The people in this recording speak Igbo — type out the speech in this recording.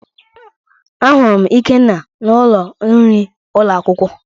Ahụrụ m ikenna n'ụlọ nri ụlọ akwụkwọ